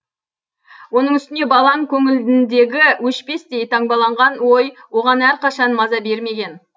оның үстіне балаң көңіліндегі өшпестей таңбаланған ой оған әрқашан маза бермеген